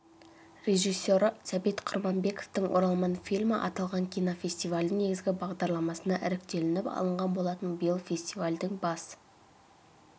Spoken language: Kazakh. режиссері сәбит құрманбековтің оралман фильмі аталған кинофестивальдің негізгі бағдарламасына іріктелініп алынған болатын биыл фестивальдің бас